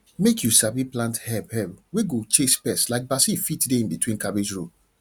make you sabi plant herb herb wey go chase pest like basil fit dey in between cabbage row